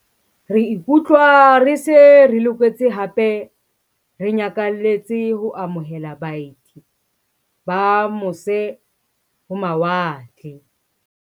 "Re ikutlwa re se re loketse hape re nyakalletse ho amo hela baeti ba mose-ho-mawa tle."